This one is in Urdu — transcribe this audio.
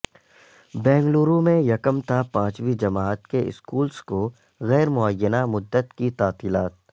بنگلورو میں یکم تا پانچویں جماعت کے اسکولس کو غیر معینہ مدت کی تعطیلات